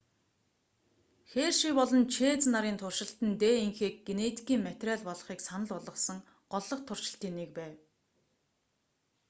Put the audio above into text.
херши болон чэйз нарын туршилт нь днх-г генетикийн материал болохыг санал болгосон голлох туршилтын нэг байв